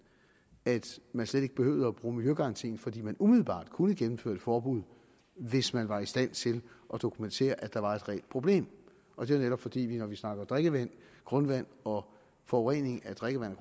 at man slet ikke behøvede at bruge miljøgarantien fordi man umiddelbart kunne gennemføre et forbud hvis man var i stand til at dokumentere at der var et reelt problem og det er netop fordi vi når vi snakker drikkevand og grundvand og forurening af drikkevand